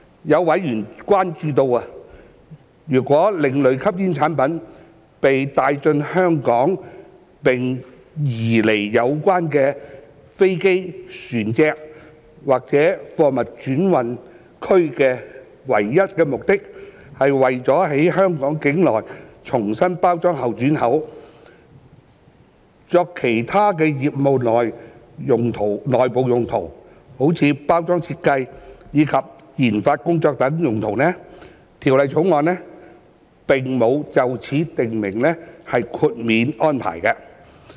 有委員關注到，如果另類吸煙產品被帶進香港並被移離有關飛機、船隻或貨物轉運區的唯一目的是為了在香港境內重新包裝後轉口，作其他業務內部用途及研發工作等用途，《條例草案》並無就此訂定豁免安排。